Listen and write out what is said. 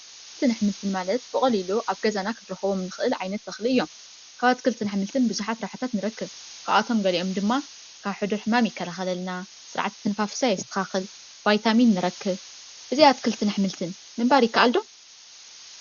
ኣትክልትን ኣሕምልትን ማለት ብቀሊሉ ኣብ ገዛና ክንረክቦም እንክእል ዓይነት ተክሊ እዮም፡፡ ካብ ኣትክልትን ኣሕምልትን ብዙሕ ረብሓታት ክንረክብ ካብኣቶም በሊዖም ድማ ካብ ሕዱር ሕማም ይከላከለልና፣ ስርዓተ ምስትንፋስ የስተካክል፣ ቫይታሚን ንረክብ፡፡ ብዘይ ኣትክልንት ኣሕምልትን ምምንባር ይከኣል ዶ?